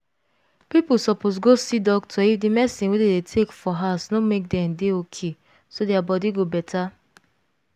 people suppose go see doctor if the medicine wey dem dey take for house no make dem dey okayso dia body go better